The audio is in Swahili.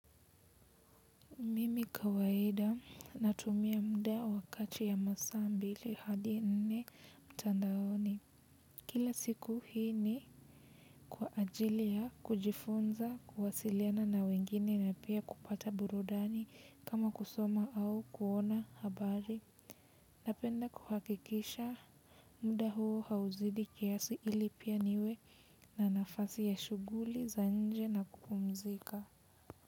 Mimi kawaida natumia muda wa kati ya masaa mbili hadi nne mtandaoni kila siku hii ni kwa ajili ya kujifunza kuwasiliana na wengine na pia kupata burudani kama kusoma au kuona habari. Napenda kuhakikisha muda huo hauzidi kiasi ili pia niwe na nafasi ya shughuli za nje na kupumzika.